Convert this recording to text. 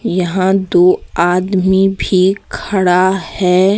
यहां दो आदमी भी खड़ा है।